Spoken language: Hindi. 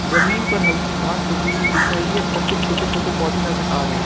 जमीन पर हल्की घास होगी हुई दिख रही है और कुछ छोटे छोटे पौधे नजर आ रहे हैं।